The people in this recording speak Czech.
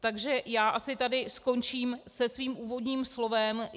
Takže já asi tady skončím se svým úvodním slovem.